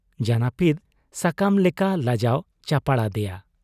ᱡᱟᱹᱱᱟᱹᱯᱤᱫ ᱥᱟᱠᱟᱢ ᱞᱮᱠᱟ ᱞᱟᱡᱟᱣ ᱪᱟᱯᱟᱲ ᱟᱫᱮᱭᱟ ᱾